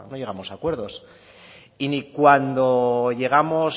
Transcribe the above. llegamos a acuerdos y ni cuando llegamos